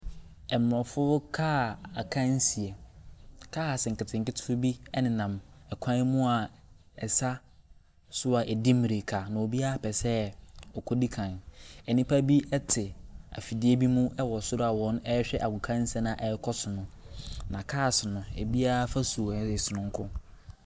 Ɛmmorofo kaa akansie, kaase nketenkete bi ɛnenam ɛkwan mu a ɛsa so a ɛdi mmirika na obiara pɛ sɛ wɔkɔdi kan. Nnipa bi ɛte afidie bi mu ɛwɔ soro a wɔrehwɛ agokansie no a ɛrekɔ so no, na kaase no ebiara afasuo yɛ sononko.